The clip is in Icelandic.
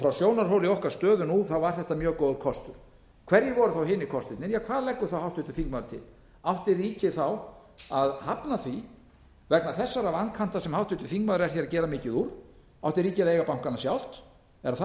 frá sjónarhóli okkar stöðu nú var þetta mjög góður kostur hverjir voru hinir kostirnir ja hvað leggur háttvirtur þingmaður til átti ríkið að hafna því vegna þessara vankanta sem háttvirtur þingmaður er hér að gera mikið úr átti ríkið að eiga bankana sjálft er það það